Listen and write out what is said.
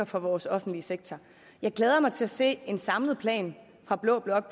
for vores offentlige sektor jeg glæder mig til at se en samlet plan fra blå blok